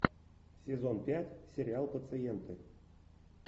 сезон пять сериал пациенты